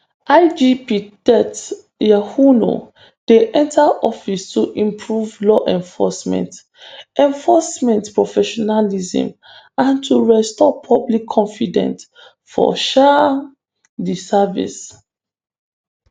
igp tetteh yohuno dey enta office to improve law enforcement enforcement professionalism and to restore public confidence for um di service.